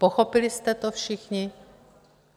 Pochopili jste to všichni?